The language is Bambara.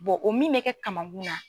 o min bɛ kɛ kaman kun na.